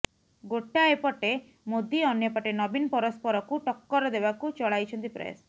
ଗୋଟାଏ ପଟେ ମୋଦି ଅନ୍ୟପଟେ ନବୀନ ପରସ୍ପରକୁ ଟକ୍କର ଦେବାକୁ ଚଳାଇଛନ୍ତି ପ୍ରୟାସ